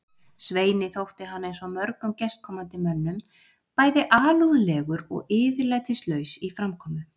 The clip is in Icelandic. Sveini þótti hann eins og mörgum gestkomandi mönnum bæði alúðlegur og yfirlætislaus í framkomu.